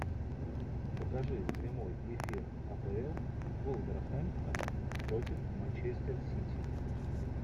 покажи прямой эфир апл вулверхэмптон против манчестер сити